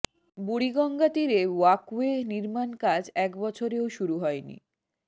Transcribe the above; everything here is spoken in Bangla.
বুড়িগঙ্গা তীরে ওয়াকওয়ে নির্মাণ কাজ এক বছরেও শুরু হয়নি